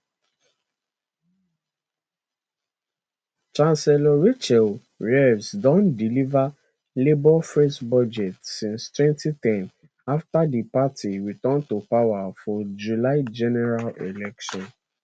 chancellor rachel reeves don deliver labour first budget since 2010 after di party return to power for july general election